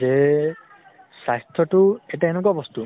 যে, স্বাস্থ্য়তো এটা এনেকুৱা বস্তু